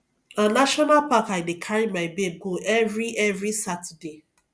na national park i dey carry my babe go every every saturday